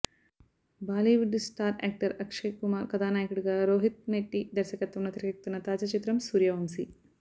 Bollywood star actor Akshay Kumar కథానాయకుడిగా రోహిత్శెట్టి దర్శకత్వంలో తెరకెక్కుతున్న తాజా చిత్రం సూర్యవంశి